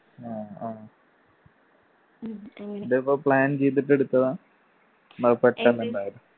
ആ ആ. ഇതിപ്പോ plan ചെയ്തിട്ട് എടുത്തതാ അതോ പെട്ടെന്നുണ്ടായതാ